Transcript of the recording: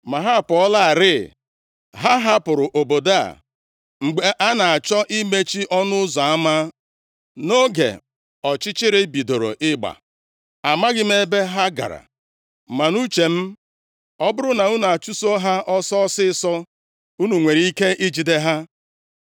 Ma ha apụọlarị. Ha hapụrụ obodo a mgbe a na-achọ imechi ọnụ ụzọ ama, nʼoge ọchịchịrị bidoro ịgba. Amaghị m ebe ha gara. Ma, nʼuche m, ọ bụrụ na unu achụso ha ọsọ ọsịịsọ unu nwere ike ijide ha.”